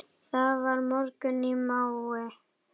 Það var morgunn í maí.